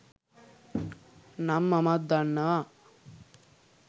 නම් මමත් දන්නවා.